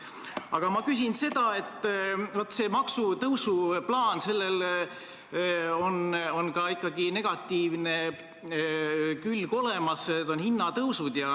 Aga ma küsin selle kohta, et sellel maksutõusu plaanil on ikkagi ka negatiivne külg olemas, need on hinnatõusud.